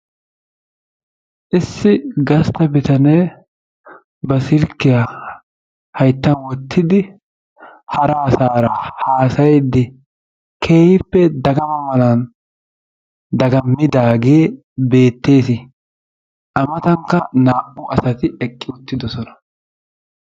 issi gasta bitanee ba silkkiya haytan wotidi hara asaara haasayiidi keehippe dagamma mala dagamidaagee beetes, a matankka naa'u asati eqqidossona.